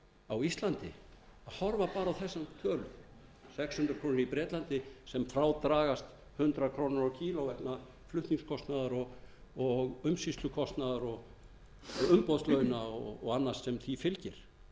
á íslandi horfa bara á þessar tölur sex hundruð krónur í bretlandi sem frá dragast hundrað krónur á kílógramm vegna flutningskostnaðar umsýslukostnaðar og umboðslauna og annars enn því fylgir að